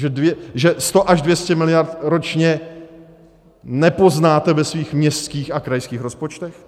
Že 100 až 200 miliard ročně nepoznáte ve svých městských a krajských rozpočtech?